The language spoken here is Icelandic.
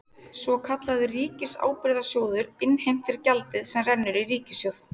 Svokallaður ríkisábyrgðasjóður innheimtir gjaldið sem rennur í ríkissjóð.